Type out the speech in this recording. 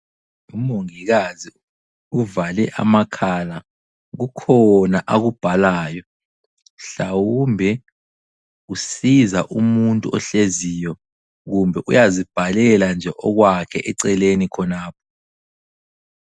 Umongikazi uvale amakhala. Kukhona akubhalayo, mhlawumbe usiza umuntu ohleziyo, kumbe uyazibhalela nje okwakhe eceleni khonapho.